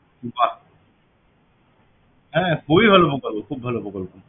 বাহ হ্যাঁ খুবই ভালো প্রক্ল~ খুব ভালো প্রকল্প